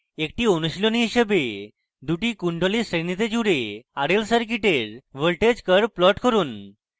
একটি অনুশীলনী হিসেবে দুটি কুন্ডলী শ্রেণীতে জুড়ে rl circuit voltage curves plot করুন